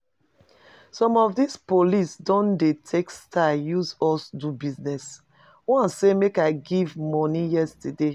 Some of dis police don dey take style use us do business, one say make I give money yesterday